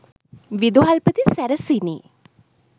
විදුහල්පති සැරසිණි